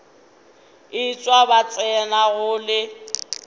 etšwa ba tsena go le